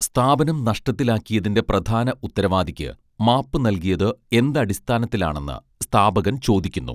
സ്ഥാപനം നഷ്ടത്തിലാക്കിയതിന്റെ പ്രധാന ഉത്തരവാദിയ്ക്ക് മാപ്പു നൽകിയത് എന്തടിസ്ഥാനത്തിലാണെന്ന് സ്ഥാപകൻ ചോദിക്കുന്നു